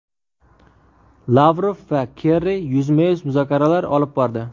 Lavrov va Kerri yuzma-yuz muzokaralar olib bordi.